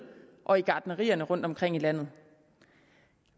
og i gartnerierne rundtomkring i landet